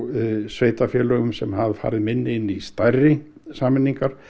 sveitarfélögum sem hafa farið minni inn í stærri sameiningar